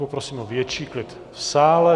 Poprosím o větší klid v sále.